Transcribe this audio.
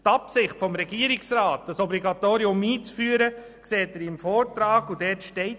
Die Absicht des Regierungsrats, ein Obligatorium einzuführen, können Sie dem Vortrag entnehmen.